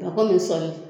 Nafa min sɔmi